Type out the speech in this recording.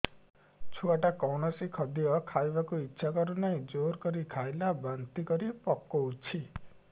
ଛୁଆ ଟା କୌଣସି ଖଦୀୟ ଖାଇବାକୁ ଈଛା କରୁନାହିଁ ଜୋର କରି ଖାଇଲା ବାନ୍ତି କରି ପକଉଛି